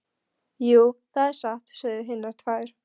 Jú, það er satt, sögðu hinar tvær.